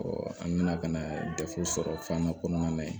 an nana ka na dɛfu sɔrɔ fana kɔnɔna na yen